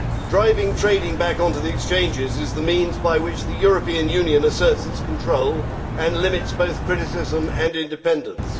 Driving trading back onto the exchanges is the means by which the European Union asserts its control and limits both criticism and independence.